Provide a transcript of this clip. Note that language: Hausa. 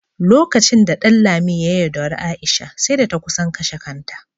Lokacin da Ɗanlami ya yaudari Aisha, sai da ta kusan kashe kanta.